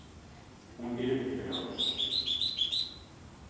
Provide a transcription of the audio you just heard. Hún yrði frjáls.